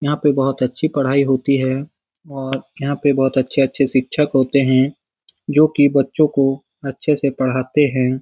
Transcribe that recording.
यहाँ पे बहोत अच्छी पढ़ाई होती है और यहाँ पे बहोत अच्छे-अच्छे शिक्षक होते है जो कि बच्चो को अच्छे से पढ़ाते है।